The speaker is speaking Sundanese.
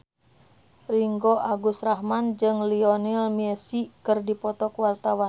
Ringgo Agus Rahman jeung Lionel Messi keur dipoto ku wartawan